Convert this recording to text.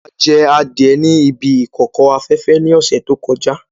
A jẹ adie ní ibi ìkòkò afẹ́fẹ́ ní ọ̀sẹ̀ tó kọjá.